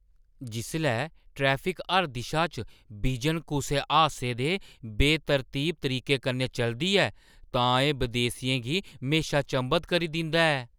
जिसलै ट्रैफिक हर दिशा च बिजन कुसै हादसे दे बेतरतीब तरीके कन्नै चलदी ऐ तां एह् बदेसियें गी म्हेशा चंभत करी दिंदा ऐ।